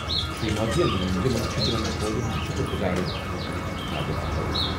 شری مودیَن ووٚن زِ مُلُک چھُ تِمَن فوجَن ہُنٛد شُکُر گُزار یِمَو اَمِچ حِفاظت کٔر۔